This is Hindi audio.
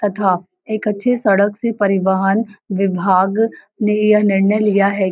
तथा एक अच्छे सड़क से परिवहन विभाग ने यह निर्णय लिया हैं--